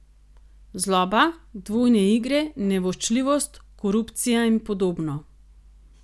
Zloba, dvojne igre, nevoščljivost, korupcija in podobno.